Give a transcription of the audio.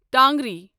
ٹانگری